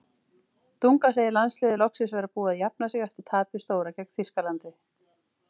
Dunga segir landsliðið loksins vera búið að jafna sig eftir tapið stóra gegn Þýskalandi.